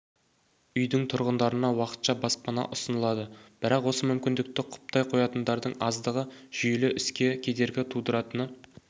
үйдің тұрғындарына уақытша баспана ұсынылады бірақ осы мүмкіндікті құптай қоятындардың аздығы жүйелі іске кедергі тудыратыны